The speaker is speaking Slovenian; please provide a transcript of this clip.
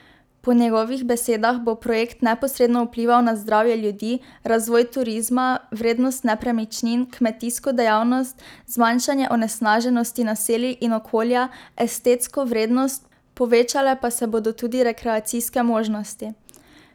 Po njegovih besedah bo projekt neposredno vplival na zdravje ljudi, razvoj turizma, vrednost nepremičnin, kmetijsko dejavnost, zmanjšanje onesnaženosti naselij in okolja, estetsko vrednost, povečale pa se bodo tudi rekreacijske možnosti.